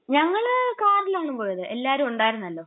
ഞങ്ങള് കാറിലാണ് പോയത്. എല്ലാവരും ഉണ്ടായിരുന്നല്ലോ.